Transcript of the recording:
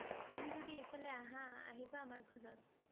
তুমি যদি এইফলে আহা, আহিবা আমাৰ ঘৰত ।